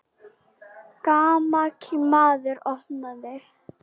Gamall maður opnaði.